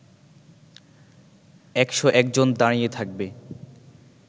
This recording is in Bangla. একশ একজন দাঁড়িয়ে থাকবে